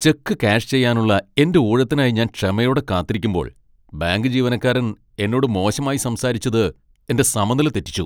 Check cash ചെയ്യാനുള്ള എന്റെ ഊഴത്തിനായി ഞാൻ ക്ഷമയോടെ കാത്തിരിക്കുമ്പോൾ ബാങ്ക് ജീവനക്കാരൻ എന്നോട് മോശമായി സംസാരിച്ചത് എന്റെ സമനില തെറ്റിച്ചു.